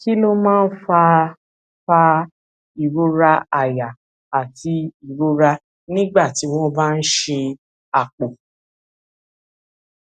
kí ló máa ń fa fa ìrora àyà àti ìrora nígbà tí wón bá ń ṣe àpò